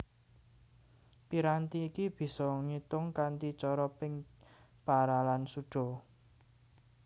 Piranti iki bisa ngetung kanthi cara ping para lan suda